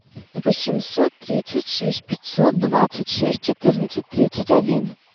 восемьсот тридцать шесть пятьсот двадцать шесть четырнадцать тридцать один